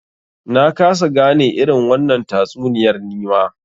Na kasa gane irin wannan tatsuniyar nima.